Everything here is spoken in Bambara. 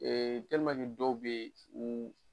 dɔw be u